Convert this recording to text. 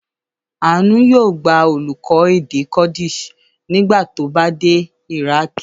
Àánú yóò gba olùkọ́ èdè Kurdish nígbà tó bá dé Iraq.